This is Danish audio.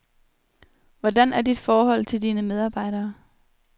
Hvordan er dit forhold til dine medarbejdere?